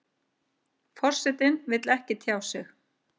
Forsetinn vill ekki tjá sig